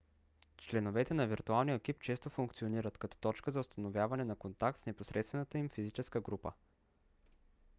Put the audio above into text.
членовете на виртуалния екип често функционират като точка за установяване на контакт с непосредствената им физическа група